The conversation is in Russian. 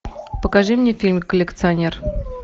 покажи мне фильм коллекционер